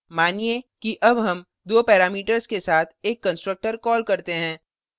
मानिए कि अब हम दो parameters के साथ एक constructor कॉल करते हैं